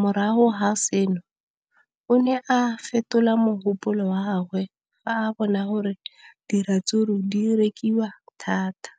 morago ga seno, o ne a fetola mogopolo wa gagwe fa a bona gore diratsuru di rekisiwa thata.